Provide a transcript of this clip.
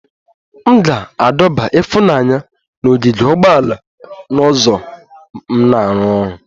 M ga-adọba ifunanya na ogige ugboala na ụzọ m na-arụ ọrụ